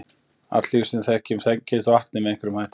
Allt líf sem við þekkjum tengist vatni með einhverjum hætti.